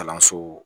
Kalanso